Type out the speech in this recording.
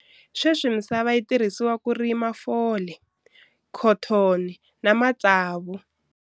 Sweswi misava yi tirhisiwa ku rima fole, khotoni ni matsavu.